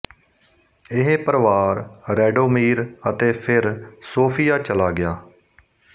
ਇਹ ਪਰਵਾਰ ਰੈਡੋਮੀਰ ਅਤੇ ਫਿਰ ਸੋਫੀਆ ਚਲਾ ਗਿਆ